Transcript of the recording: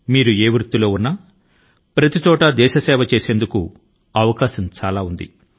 మీ వృత్తి ఏదైనా అది ఎక్కడైనా దేశాని కి సేవ చేసేందుకు అవకాశాలు అనేకం గా ఉన్నాయి